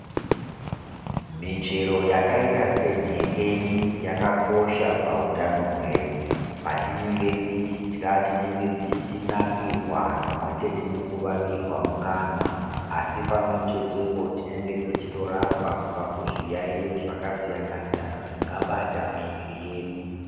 Michero yakaita senhengeni yakakosha pakutano hwedu. Patinenge techidya tinenge tichinakirwa pamwechete nekuvavirwa mukanwa. Asi pamwechetepo tinenge tichitorapwa kubva kuzviyayo zvakasiyana-siyana zvingabata miiri yedu.